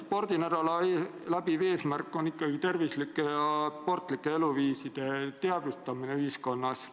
Spordinädala läbiv eesmärk on ikkagi tervislike ja sportlike eluviiside olulisuse teadvustamine ühiskonnas.